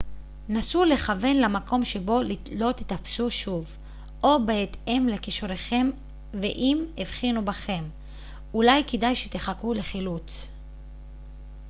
נסו לכוון למקום שבו לא תיתפסו שוב או בהתאם לכישוריכם ואם הבחינו בכם אולי כדאי שתחכו לחילוץ